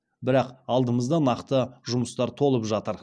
бірақ алдымызда нақты жұмыстар толып жатыр